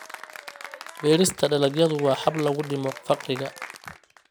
Beerista dalagyadu waa hab lagu dhimo faqriga.